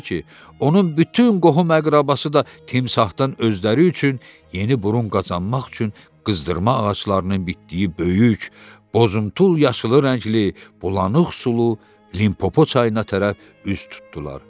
onun bütün qohum-əqrəbası da timsahdan özləri üçün yeni burun qazanmaq üçün qızdırma ağaclarının bitdiyi böyük, bozuntul yaşılı rəngli, bulanıq sulu Limpopo çayına tərəf üz tutdular.